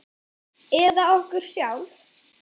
Eða okkur sjálf?